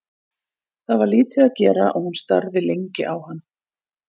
Það var lítið að gera og hún starði lengi á hana.